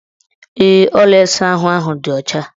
Ee, ụlọ ịsaahụ ahụ dị ọcha.